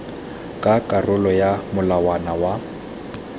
ka karolo ya molawana wa